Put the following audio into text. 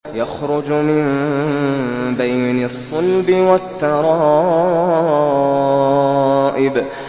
يَخْرُجُ مِن بَيْنِ الصُّلْبِ وَالتَّرَائِبِ